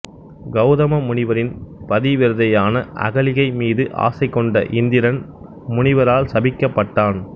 கௌதம முனிவரின் பதிவிரதையான அகலிகை மீது ஆசை கொண்ட இந்திரன் முனிவரால் சபிக்கப்பட்டான்